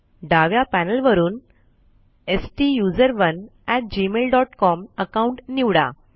डाव्या पॅनल वरून STUSERONEgmailcom account निवडा